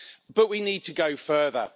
But we need to go further.